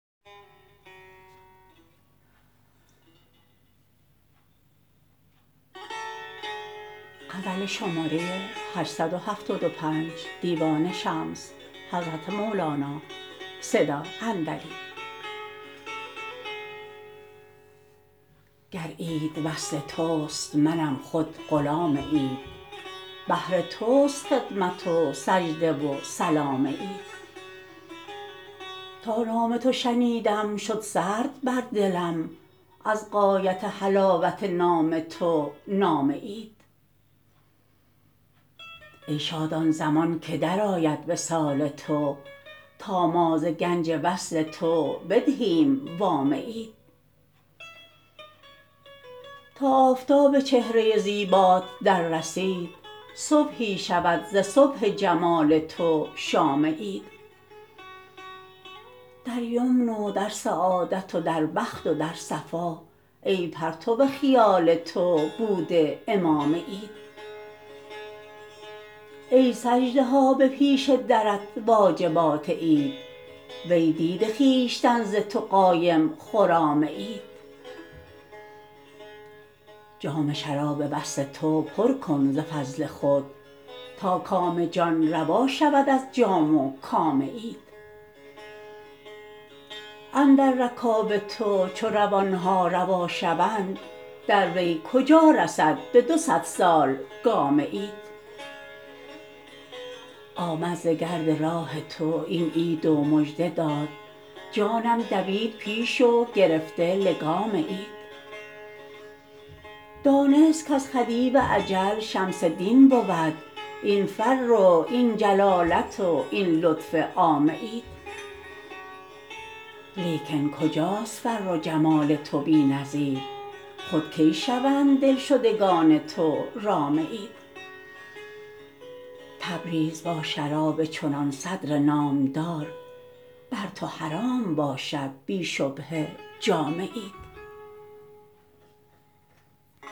گر عید وصل تست منم خود غلام عید بهر تست خدمت و سجده و سلام عید تا نام تو شنیدم شد سرد بر دلم از غایت حلاوت نام تو نام عید ای شاد آن زمان که درآید وصال تو تا ما ز گنج وصل تو بدهیم وام عید تا آفتاب چهره زیبات دررسید صبحی شود ز صبح جمال تو شام عید در یمن و در سعادت و در بخت و در صفا ای پرتو خیال تو بوده امام عید ای سجده ها به پیش درت واجبات عید وی دیده خویشتن ز تو قایم خرام عید جام شراب وصل تو پر کن ز فضل خود تا کام جان روا شود از جام و کام عید اندر رکاب تو چو روان ها روا شوند در وی کجا رسد به دو صد سال گام عید آمد ز گرد راه تو این عید و مژده داد جانم دوید پیش و گرفته لگام عید دانست کز خدیو اجل شمس دین بود این فرو این جلالت و این لطف عام عید لیکن کجاست فر و جمال تو بی نظیر خود کی شوند دلشدگان تو رام عید تبریز با شراب چنان صدر نامدار بر تو حرام باشد بی شبهه تو جام عید